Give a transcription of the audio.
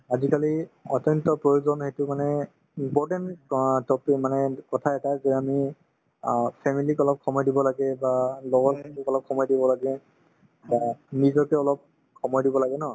আজিকালি অত্যন্ত প্ৰয়োজন সেইটো মানে important ক topic মানে কথা এটা যে আমি অ family ক অলপ সময় দিব লাগে বা লগৰখিনিক অলপ সময় দিব লাগে বা নিজকে অলপ সময় দিব লাগে ন